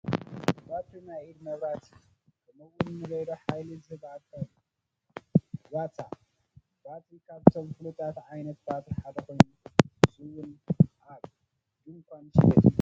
ባትሪ ንናይ ኢድ መብራህቲ ከምኡውን ንሬድዮ ሓይሊ ዝህብ ኣካል እዩ፡፡ ዱራታ ባትሪ ካብቶም ፍሉጣት ዓይነታት ባትሪ ሓደ ኮይኑ ንሱውን ኣብ ድንዃን ዝሽየጥ እዩ፡፡